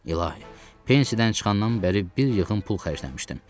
İlahi, pensiyadan çıxandan bəri bir yığın pul xərcləmişdim.